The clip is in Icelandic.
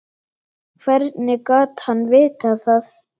Hvernig gat hann vitað það.